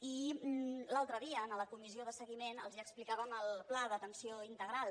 i l’altre dia en la comissió de seguiment els explicàvem el pla d’atenció integral